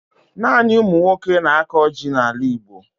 Naanị umunwoke na-ako jị na ala igbo